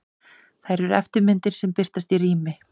Þær eru eftirmyndir sem birtast í rými.